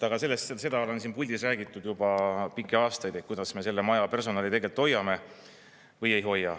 Aga seda on siin puldis räägitud juba pikki aastaid, et kuidas me selle maja personali tegelikult hoiame või ei hoia.